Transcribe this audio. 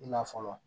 I la fɔlɔ